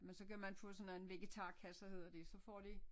Men så kan man få sådan en vegetarkasse hedder det så får de